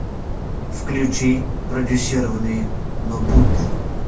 включи продюсирование нобуты